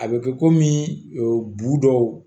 A bɛ kɛ kɔmi bu dɔw